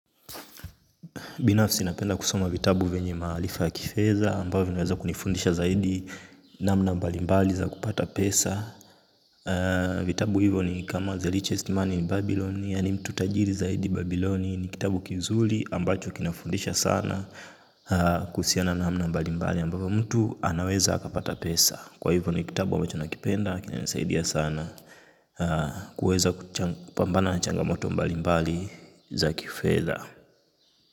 Binafsi napenda kusoma vitabu venye maalifa ya kifedha ambavo naweza kunifundisha zaidi namna mbalimbali za kupata pesa. Vitabu hivyo ni kama The lichest Mani ni Babyloni ya ni mtu tagiri zaidi Babyloni ni kitabu kizuli ambacho kinafundisha sana kusiana namna mbalimbali ambavu mtu anaweza kapata pesa. Kwa hivyo ni kitabu ambacho nakipenda kina nisaidia sana kuweza kupambana na changamoto mbalimbali za kifedha.